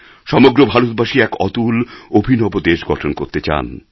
সমগ্র ভারতবাসী এক অতুল অভিনব দেশ গঠন করতে চান